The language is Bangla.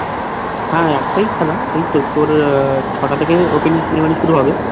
হ্যাঁ একটাই খেলা এইতো তোর ছটা থেকে opening ceremony শুরু হবে